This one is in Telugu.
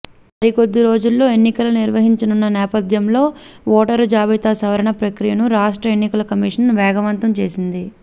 మరో కొద్దిరోజుల్లో ఎన్నికల నిర్వహించనున్న నేపథ్యంలో ఓటరు జాబితా సవరణ ప్రక్రియను రాష్ట్ర ఎన్నిల కమిషన్ వేగవంతం చేసింది